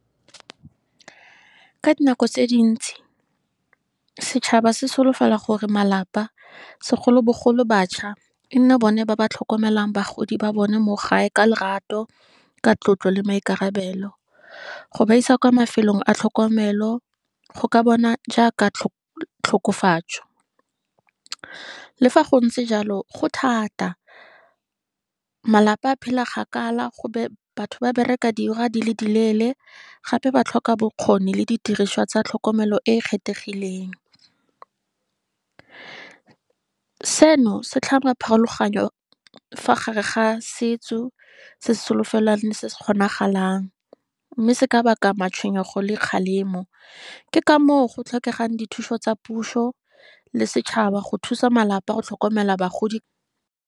Ka di nako tse dintsi, setšhaba se solofela gore malapa, segolobogolo batšha, e nne bone ba ba tlhokomelang bagodi ba bone mo gae ka lorato, ka tlotlo, le maikarabelo. Go ba isa kwa mafelong a tlhokomelo, go ka bona jaaka tlhokofatso le fa go ntse jalo, go thata, malapa a phela kgakala, batho ba bereka dirwa di le di leele, gape ba tlhoka bokgoni le didiriswa tsa tlhokomelo e kgethegileng. Seno, se tlhama pharologanyo fa gare ga setso, se se solofelwang se se kgonagalang, mme se ka baka matshwenyego le kgalemo. Ke ka moo go tlhokegang dithuso tsa puso, le setšhaba go thusa malapa go tlhokomela bagodi.